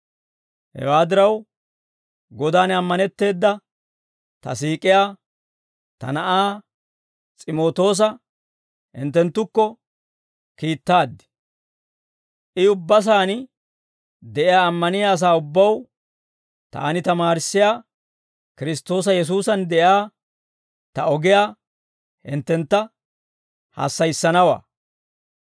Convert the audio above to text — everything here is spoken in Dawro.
Hewaa diraw, Godan ammanetteeda ta siik'iyaa ta na'aa S'imootoosa hinttenttukko kiittaad. I ubbaa sa'aan de'iyaa ammaniyaa asaa ubbaw taani tamaarissiyaa Kiristtoosa Yesuusan de'iyaa ta ogiyaa hinttentta hassayissanawaa.